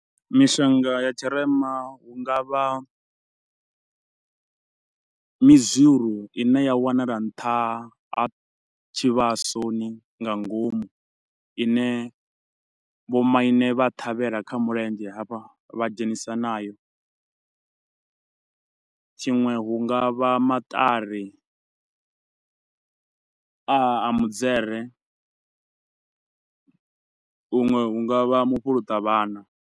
Mishonga ya tshirema hu nga vha midziru i ne ya wanala nṱha ha tshivhasoni nga ngomu. Ine vho maine vha ṱhavhela kha mulendzhe hafha, vha dzhenisa nayo, tshiṅwe hunga vha maṱari a mudzere, huṅwe hu nga vha mufhuluṱa vhana.